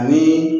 Ani